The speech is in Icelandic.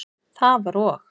Það var og.